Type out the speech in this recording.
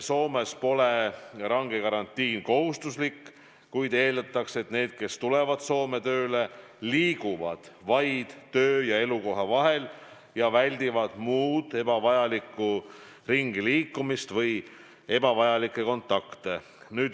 Soomes pole range karantiin kohustuslik, kuid eeldatakse, et need, kes tulevad Soome tööle, liiguvad vaid töö- ja elukoha vahet ning väldivad muud ringiliikumist ja ebavajalikke kontakte.